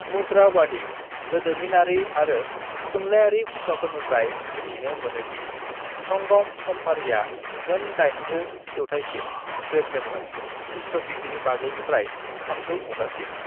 "मुद्रावादी, गोदोमिनारि आरो थुनलायारि फुंखाफोरनिफ्राय मिथिनो मोनो दि संगम समफारिआ मोन दाइनजो जौथायसिम जोरदोंमोन, खृ.गि. 500 निफ्राय 300 मुगासिम।"